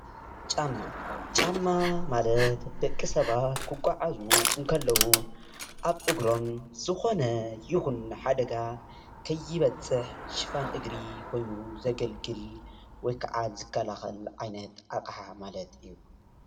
ጫማ፡- ጫማ ማለት ዳቂ ሰባት ክጓዓዙ እንተለዉ ኣብ እግሮም ዝኮነ ይኩን ሓደጋ ከይበፅሕ ሽፋን እግሪ ኮይኑ ዘገልግል ወይ ከዓ ዝክላከል ዓይነት ኣቅሓ ማለት እዩ፡፡